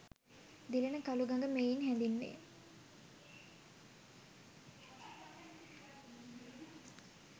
දිලෙන කළුගඟ මෙයින් හැඳින්වේ.